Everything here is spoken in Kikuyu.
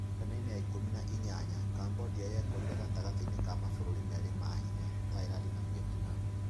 Karine-inĩ ya ikũmi na inyanya[18], Kambodia yekorire gatagatĩ ka mabũrũri merĩ ma hinya, Thailand na Vietnam.